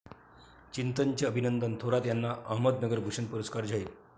चिंतन'चे अभिनंदन थोरात यांना 'अहमदनगर भूषण' पुरस्कार जाहीर